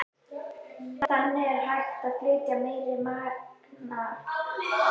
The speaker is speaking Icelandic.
Þannig er hægt að flytja meira magn upplýsinga.